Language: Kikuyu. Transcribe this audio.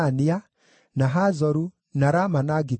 na Hazoru, na Rama na Gitaimu,